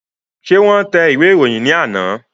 Ṣé wọ́n tẹ ìwé ìròyìn ní àná?